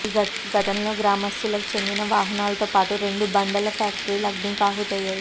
ఈ ఘటనలో గ్రామస్తులకు చెందిన వాహనాలతో పాటు రెండు బండల ఫ్యాక్టరీలు అగ్నికి ఆహుతయ్యాయి